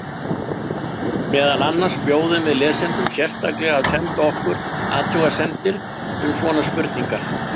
Meðal annars bjóðum við lesendum sérstaklega að senda okkur athugasemdir um svona spurningar.